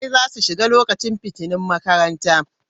Ɗalibai za su shiga lokacin fitinun makaranta